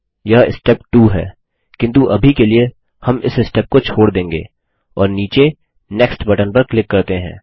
यह स्टेप 2 है किन्तु अभी के लिए हम इस स्टेप को छोड़ देंगे और नीचे नेक्स्ट बटन पर क्लिक करते हैं